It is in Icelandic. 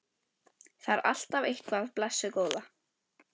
Það er alltaf eitthvað, blessuð góða.